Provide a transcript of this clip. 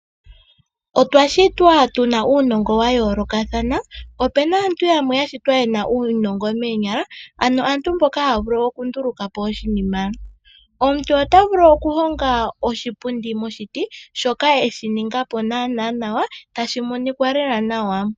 Otwashitwa tu na uunongo wayoolokathana. Opena aantu yamwe yasitwa ye na uunongo meenyala ano mboka ta ya vulu okundulukapo oshinima. Omuntu ota vulu okuhonga oshipundi moshiti shoka esiningapo naana nawa tashi monikwa lela nawa.